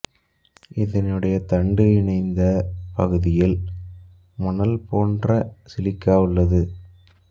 இதனுடைய தண்டு இணைந்த பகுதியில் மணல் போன்ற சிலிக்கா உள்ளது